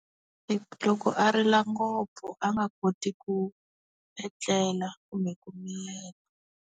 Loko a rila ngopfu a nga koti ku etlela kumbe ku miyela.